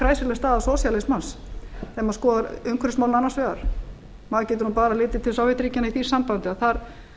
kræsileg staða sósíalismans þegar maður skoðar umhverfismálin annars vegar maður getur nú bara litið til sovétríkjanna í því sambandi að þar